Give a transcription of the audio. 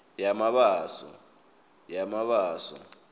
yamabaso